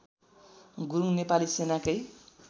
Gurung Nepali सेनाकै